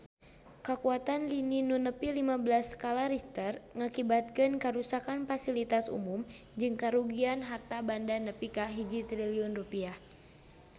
Kakuatan lini nu nepi lima belas skala Richter ngakibatkeun karuksakan pasilitas umum jeung karugian harta banda nepi ka 1 triliun rupiah